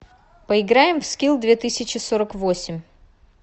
поиграем в скилл две тысячи сорок восемь